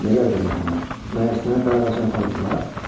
Nə qəribə mərhəmət, məyər sənə darağacına aparmırlar?